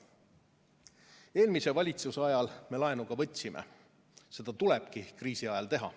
Eelmise valitsuse ajal me laenu ka võtsime, seda tulebki kriisi ajal teha.